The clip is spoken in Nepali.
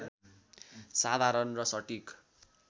साधारण र सटीक